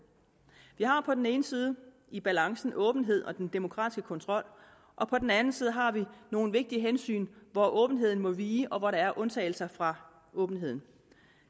vi har jo på den ene side i balancen åbenhed og den demokratiske kontrol og på den anden side har vi nogle vigtige hensyn hvor åbenheden må vige og hvor der er undtagelser fra åbenheden